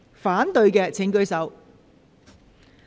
反對的請舉手。